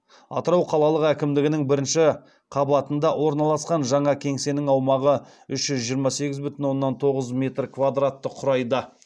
атырау қалалық әкімдігінің бірінші қабатында орналасқан жаңа кеңсенің аумағы үш жүз жиырма сегіз бүтін оннан тоғыз метр квадратты құрайды